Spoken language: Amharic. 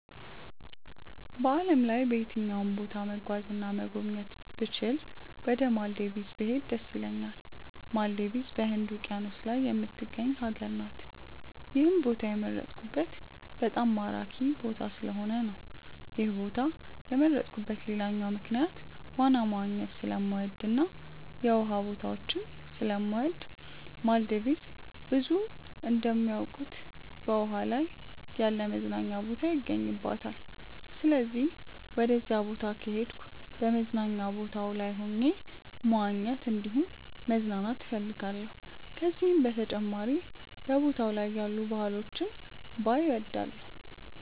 በዓለም ላይ በየትኛውም ቦታ መጓዝ እና መጎብኘት ብችል ወደ ማልዲቭስ ብሄድ ደስ ይለኛል። ማልዲቭስ በህንድ ውቂያኖስ ላይ የምትገኝ ሀገር ናት። ይህን ቦታ የመረጥኩት በጣም ማራኪ ቦታ ስለሆነ ነው። ይህን ቦታ የመረጥኩበት ሌላኛው ምክንያት ዋና መዋኘት ስለምወድ እና የውሃ ቦታዎችን ስለምወድ ነው። ማልዲቭስ ብዙዎች እንደሚያውቁት በውሃ ላይ ያለ መዝናኛ ቦታ ይገኝባታል። ስለዚህም ወደዛ ቦታ ከሄድኩ በመዝናኛ ቦታው ላይ ሆኜ መዋኘት እንዲሁም መዝናናት እፈልጋለሁ። ከዚህም በተጨማሪ በቦታው ላይ ያሉ ባህሎችን ባይ እወዳለሁ።